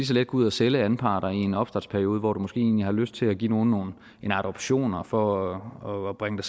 så let gå ud at sælge anparter i en opstartsperiode hvor du måske egentlig har lyst til at give nogle en art optioner for for at bringe